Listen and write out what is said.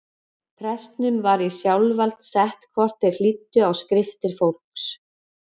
Prestum var í sjálfsvald sett hvort þeir hlýddu á skriftir fólks.